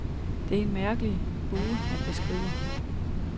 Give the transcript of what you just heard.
Det er en mærkelig bue, han beskriver.